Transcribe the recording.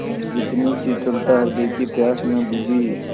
इतनी शीतलता हृदय की प्यास न बुझी